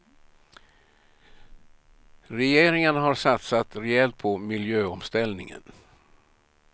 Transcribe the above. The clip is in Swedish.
Regeringen har satsat rejält på miljöomställningen.